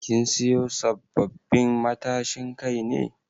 Kin siyo sabbabin matashin Kai ne?